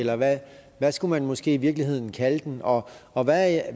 eller hvad skulle man måske i virkeligheden kalde den og og hvad